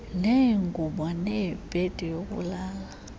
neengubo nebhedi yokulala